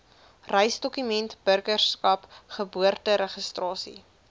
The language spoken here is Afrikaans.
reisdokumente burgerskap geboorteregistrasie